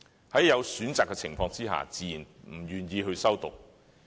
在有選擇的情況下，他們自然不願意修讀。